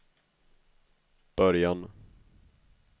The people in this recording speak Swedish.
början